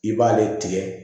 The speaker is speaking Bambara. I b'ale tigɛ